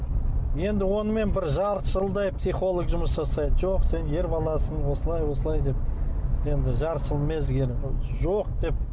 енді онымен бір жарты жылдай психолог жұмыс жасайды жоқ сен ер баласың осылай осылай деп енді жарты жыл мезгіл жоқ деп